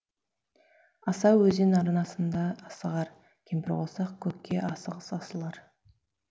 асау өзен арнасында асығар кемпірқосақ көкке асығыс асылар